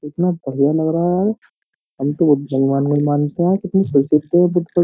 इतना बढ़िया लग रहा है यार। हम तो --